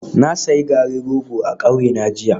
Na sayi garin rogo a kauyena jiya